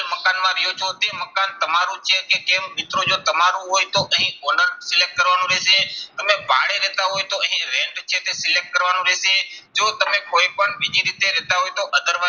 મકાનમાં રહ્યો છો તે મકાન તમારું છે કે કેમ. મિત્રો જો તમારું હોય તો અહીં owner કરવાનું રહેશે. તમે ભાડે રહેતા હોય તો અહીં rent છે તે select કરવાનું રહેશે. જો તમે કોઈ પણ બીજી રીતે રહેતા હોય તો other